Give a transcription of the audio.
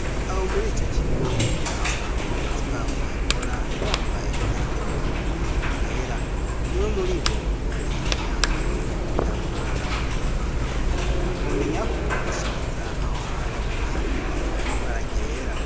Aho muri ico kigo kwasanga abakuzi baho bahkora bambaye imyambaro yera umwe muri bo yari yambaye igitambara mu mutwe mwomenya ko gushariza aho hantu aha neni ari baragera.